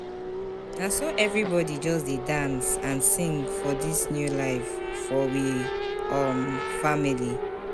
Na so everybodi just dey dance and sing for dis new life for we um family.